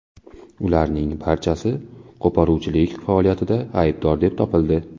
Ularning barchasi qo‘poruvchilik faoliyatida aybdor deb topildi.